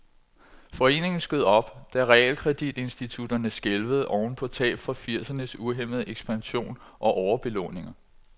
Foreningen skød op, da realkreditinstitutterne skælvede oven på tab fra firsernes uhæmmede ekspansion og overbelåninger.